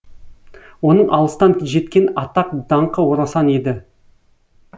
оның алыстан жеткен атақ даңқы орасан еді